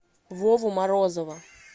вову морозова